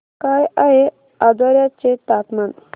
काय आहे आजर्याचे तापमान